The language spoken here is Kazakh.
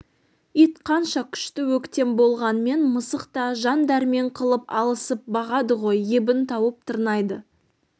ит қанша күшті өктем болғанмен мысық та жан дәрмен қылып алысып бағады ғой ебін тауып тырнайды